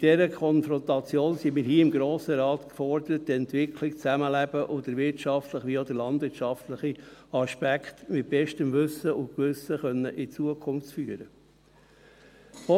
In dieser Konfrontation sind wir hier im Grossen Rat gefordert, um die Entwicklung, das Zusammenleben, und den wirtschaftlichen wie auch den landwirtschaftlichen Aspekt mit bestem Wissen und Gewissen in die Zukunft führen zu können.